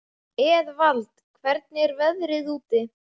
Eðvald, hvernig er veðrið úti?